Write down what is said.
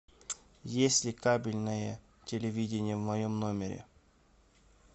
есть ли кабельное телевидение в моем номере